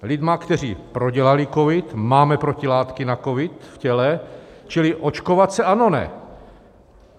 Lidmi, kteří prodělali covid, máme protilátky na covid v těle, čili očkovat se, ano - ne?